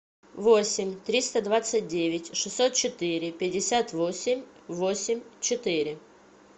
восемь триста двадцать девять шестьсот четыре пятьдесят восемь восемь четыре